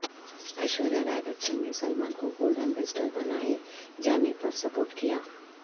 ایشوریا رائے بچن نے سلمان کو goodwill ambassador بنائے جانے پرسپورٹ کیا